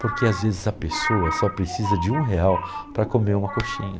Porque às vezes a pessoa só precisa de um real para comer uma coxinha.